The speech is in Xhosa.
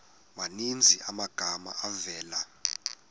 maninzi amagama avela